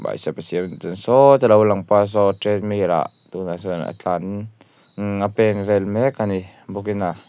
sawta lo lang pa saw treadmill ah tunah sawn a tlan umm a pen vel mek a ni bawk in a--